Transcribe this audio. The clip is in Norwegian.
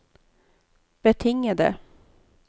betingede